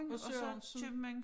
Og Sørensen